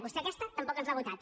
vostè aquesta tampoc ens l’ha votat